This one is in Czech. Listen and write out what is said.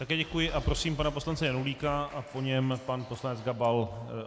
Také děkuji a prosím pana poslance Janulíka a po něm pan poslanec Gabal.